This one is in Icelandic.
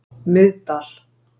Miðdal